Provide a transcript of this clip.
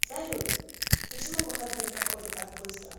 салют почему выходные проходят так быстро